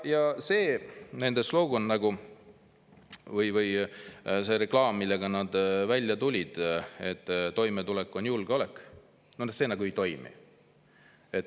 Ja see nende slogan või reklaam, millega nad välja tulid, et toimetulek on julgeolek – see nagu ei toimi.